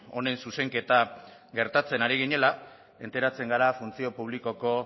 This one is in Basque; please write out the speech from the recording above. honen zuzenketa gertatzen ari ginela enteratzen gara funtzio publikoko